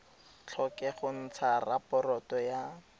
tlhoke go ntsha raporoto ya